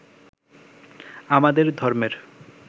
আমাদের ধর্মের